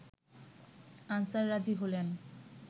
answer রাজি হলেন